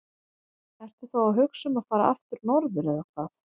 Ertu þá að hugsa um að fara aftur norður eða hvað?